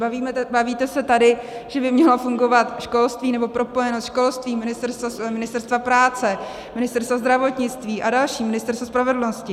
Bavíte se tady, že by mělo fungovat školství, nebo propojenost školství, Ministerstva práce, Ministerstva zdravotnictví a dalších, Ministerstva spravedlnosti.